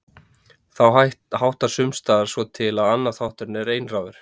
Þá háttar sums staðar svo til að annar þátturinn er einráður